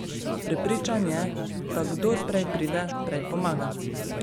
Prepričan je, da kdor prej pride, prej pomaga.